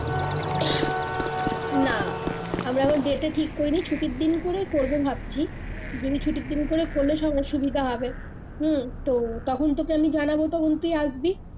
না আমরা এখনো date টা ঠিক করিনি ছুটির দিন করে করব ভাবছি যদি ছুটির দিন করে করলে সবার সুবিধা হবে হম তো তখন তোকে আমি জানাবো তখন তুই আসবি